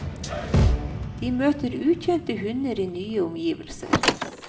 De møter ukjente hunder i nye omgivelser.